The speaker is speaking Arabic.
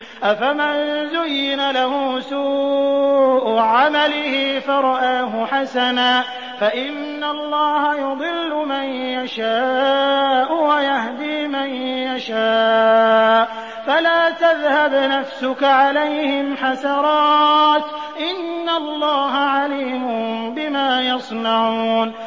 أَفَمَن زُيِّنَ لَهُ سُوءُ عَمَلِهِ فَرَآهُ حَسَنًا ۖ فَإِنَّ اللَّهَ يُضِلُّ مَن يَشَاءُ وَيَهْدِي مَن يَشَاءُ ۖ فَلَا تَذْهَبْ نَفْسُكَ عَلَيْهِمْ حَسَرَاتٍ ۚ إِنَّ اللَّهَ عَلِيمٌ بِمَا يَصْنَعُونَ